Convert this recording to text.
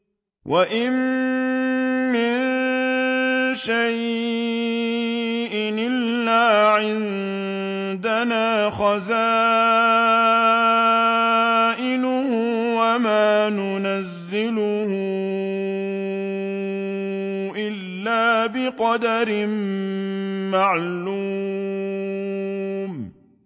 وَإِن مِّن شَيْءٍ إِلَّا عِندَنَا خَزَائِنُهُ وَمَا نُنَزِّلُهُ إِلَّا بِقَدَرٍ مَّعْلُومٍ